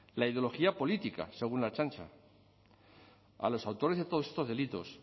la ideología política según la ertzaintza a los autores de todos estos delitos